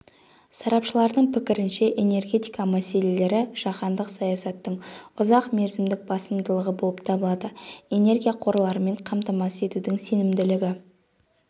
сарапшылардың пікірінше энергетика мәселелері жаһандық саясаттың ұзақ мерзімдік басымдығы болып табылады энергия қорларымен қамтамасыз етудің сенімділігі